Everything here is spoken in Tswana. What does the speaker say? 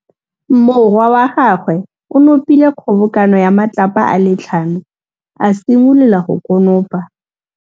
Morwa wa gagwe o nopile kgobokanô ya matlapa a le tlhano, a simolola go konopa.